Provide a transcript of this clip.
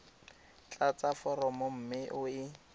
tlatsa foromo mme o e